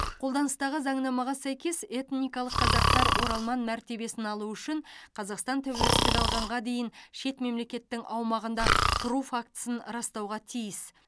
қолданыстағы заңнамаға сәйкес этникалық қазақтар оралман мәртебесін алу үшін қазақстан тәуелсіздік алғанға дейін шет мемлекеттің аумағында тұру фактісін растауға тиіс